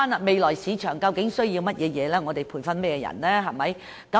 未來市場究竟需要甚麼人才，我們需要培訓甚麼人才？